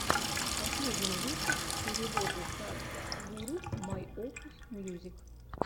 последний выпуск переводы садхгуру майопус мьюзик